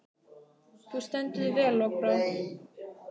Þú stendur þig vel, Lokbrá!